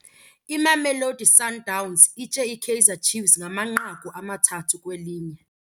Imamelodi Sundowns itye iKaizer Chiefs ngamanqaku amathathu kwelinye.